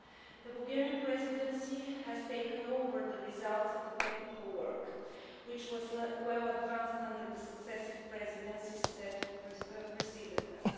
The Bulgarian Presidency has taken over the results of the technical work, which was well advanced under the successive Presidencies that preceded us.